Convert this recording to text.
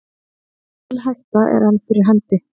Mikil hætta er enn fyrir hendi